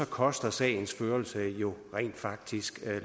koster sagens førelse jo rent faktisk